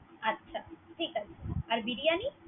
আচ্ছা ঠিক আছে। আর বিরিয়ানী।